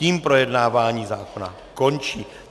Tím projednávání zákona končím.